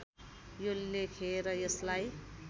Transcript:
यो लेखेर यसलाई